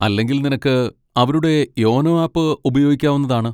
അല്ലെങ്കിൽ നിനക്ക് അവരുടെ യോനോ ആപ്പ് ഉപയോഗിക്കാവുന്നതാണ്.